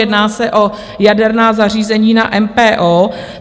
Jedná se o jaderná zařízení na MPO.